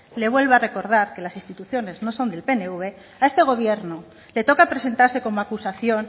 le vuelvo a recordar que las instituciones no son del pnv a este gobierno le toca presentarse como acusación